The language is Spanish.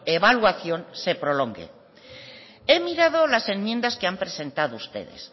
evaluación se prolongue he mirado las enmiendas que han presentado ustedes